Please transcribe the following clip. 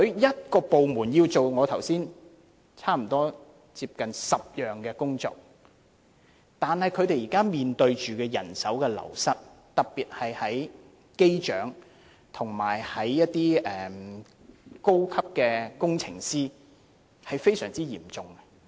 這個部門負責我剛才所說的差不多10項工作，但他們現時面對人手流失，特別是機長和高級工程師的流失情況非常嚴重。